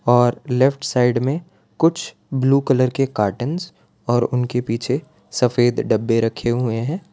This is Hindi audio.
और लेफ्ट साइड में कुछ ब्लू कलर के कार्टूंस और उनके पीछे सफेद डब्बे रखे हुए हैं।